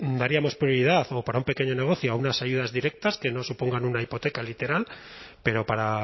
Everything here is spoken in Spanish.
daríamos prioridad o para un pequeño negocio a unas ayudas directas que no supongan una hipoteca literal pero para